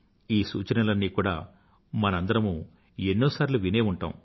ఈ సూచనలన్నీ కూడా మనందరమూ ఎన్నోసార్లు వినే ఉంటాము